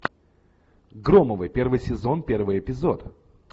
громовы первый сезон первый эпизод